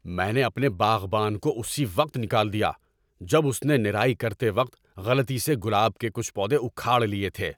میں نے اپنے باغبان کو اسی وقت نکال دیا جب اس نے نرائی کرتے وقت غلطی سے گلاب کے کچھ پودے اکھاڑ لیے تھے۔